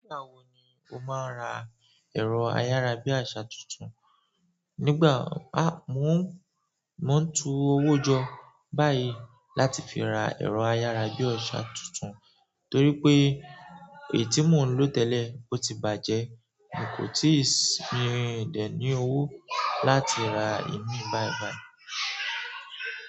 Nígbà wo ni o máa ra ẹ̀rọ ayárabíàṣá tuntun? Nígbà, a, mo ń, mo ń tu owó jọ báyìí láti fi ra ẹ̀rọ ayárabíàṣá tuntun torí pé èyí tí mo ń lò tẹ́lẹ̀ o ti bàjẹ́, mi kò tìí sì rin ìdèní owó láti ra ìmí báìbàì.